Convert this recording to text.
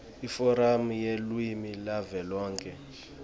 iforamu yelulwimi yavelonkhe